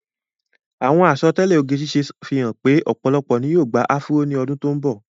Àwọn àsọtẹ́lẹ̀ oge ṣíṣe fi hàn pé ọ̀pọ̀lọpọ̀ ni yóò gba áfúró ní àwọn ọdún tó ń bọ̀.